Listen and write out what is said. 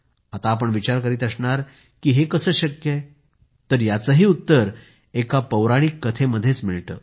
आता आपण विचार करीत असणार हे कसं शक्य आहे तर याचंही उत्तर एका पौराणिक कथेमध्येच मिळतं